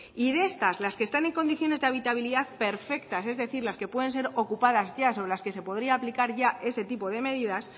y de estas las que están en condiciones de habitabilidad perfectas es decir las que pueden ser ocupadas ya sobre las que podría aplicar ya ese tipo de medidas